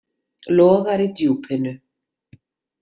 Logar í djúpinu.